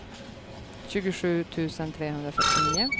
tjugosju tusen trehundrafyrtionio